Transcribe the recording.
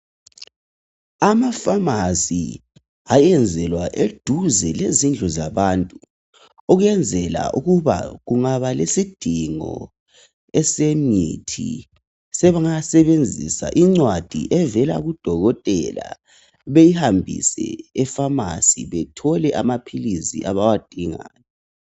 Ama Famasi ayenzelwa eduze lezindlu zabantu ukuyenzela ukuba kungaba lesidingo esemithi sebengasebenzisa incwadi evela kudokotela beyihambise e Famasi bathole amaphilisi abawadingayo.